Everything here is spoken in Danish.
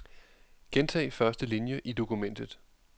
Gentag første linie i dokumentet.